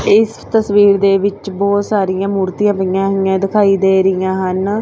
ਇਸ ਤਸਵੀਰ ਦੇ ਵਿੱਚ ਬਹੁਤ ਸਾਰੀਆਂ ਮੁਹਰਤੀਆਂ ਪਈਆਂ ਹੋਈਆਂ ਦਿਖਾਈ ਦੇ ਰਹੀਆਂ ਹਨ।